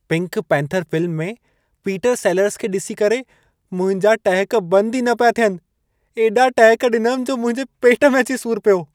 Pink Panther film में Peter Sellers खे ॾिसी करे मुंहिंजा टहिक बंद ई न पिया थियनि। एॾा टहिक ॾिनमि जो मुंहिंजे पेट में अची सूर पियो।